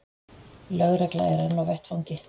Lögregla er enn á vettvangi